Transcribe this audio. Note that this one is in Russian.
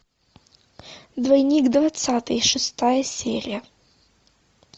двойник двадцатый шестая серия